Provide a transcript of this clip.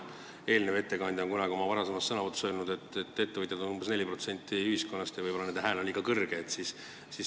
Eelnev ettekandja on kunagi oma varasemas sõnavõtus öelnud, et ettevõtjaid on umbes 4% ühiskonnast ja nende hääl on võib-olla liiga kuuldav.